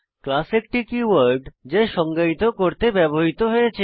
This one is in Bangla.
ক্লাস একটি কীওয়ার্ড যা সংজ্ঞায়িত করতে ব্যবহৃত হয়েছে